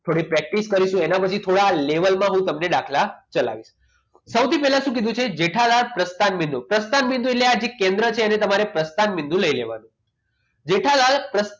થોડી પ્રેક્ટિસ કરીશું એના પછી થોડા level માં હું તમને દાખલા ચલાવીશ સૌથી પહેલા શું કીધું છે જેઠાલાલ પ્રસ્થાન પ્રસ્થાની બિંદુ અંદર એટલે કે આપણે જે કેન્દ્ર છે અને આપણે પ્રસ્થાન બિંદુ લઈ લેવાનું જેઠાલાલ પ્રસ્થાન